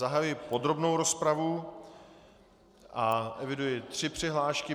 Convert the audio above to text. Zahajuji podrobnou rozpravu a eviduji tři přihlášky.